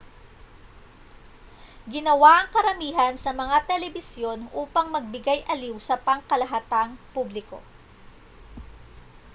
ginawa ang karamihan sa mga telebisyon upang magbigay-aliw sa pangkalahatang publiko